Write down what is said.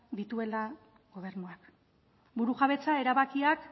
dituela gobernuak burujabetza erabakiak